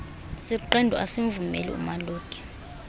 siqendu asimvumeli umaluki